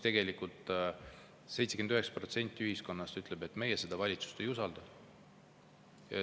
Tegelikult 79% ühiskonnast ütleb, et meie seda valitsust ei usalda.